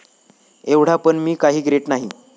एव्हडा पण मी काही ग्रेट नाहिये.